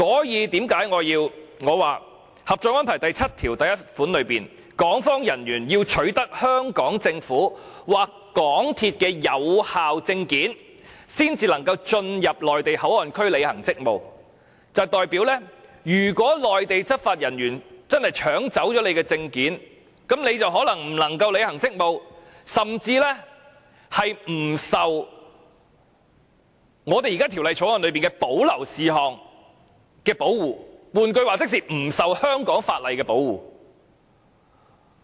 因此，《合作安排》第七1條訂明，港方人員須取得香港政府或香港鐵路有限公司的有效證件，才能進入內地口岸區履行職務，這代表如果內地執法人員真的搶去港方人員的證件，那麼他們便可能無法履行職務，甚至不受《條例草案》中的保留事項的保護，換言之，是不受香港法例保護。